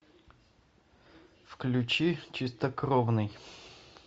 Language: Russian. включи чистокровный